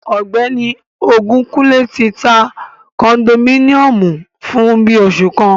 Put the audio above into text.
Ọgbẹni Ogunkunle ti ta kondominiomu fun bii oṣu kan